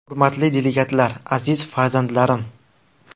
Hurmatli delegatlar, aziz farzandlarim!